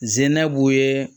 Zinɛ b'u ye